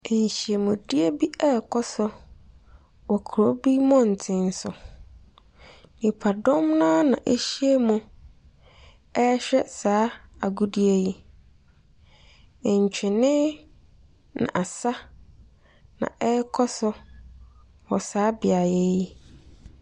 Nhyiamdie bi rekɔ so wɔ kurow bi mmɔren so. Nnipa dɔm no ara na ahyiam rehwɛ saa agodie yi. Ntwene ne asa na ɛrekɔ so wɔ saa neaeɛ yi.